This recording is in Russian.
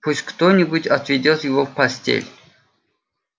пусть кто-нибудь отведёт его в постель